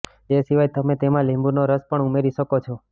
તે સિવાય તમે તેમા લીંબુનો રસ પણ ઉમેરી શકો છો